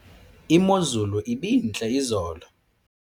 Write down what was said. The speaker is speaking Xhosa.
imozulu ibintle izolo